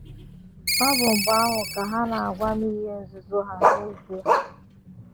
Ọ bụ mgbe ahụ ka ha n'agwa m ihe nzuzo ha n’ezie